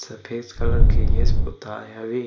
सफ़ेद कलर के गेस पुताई हवे।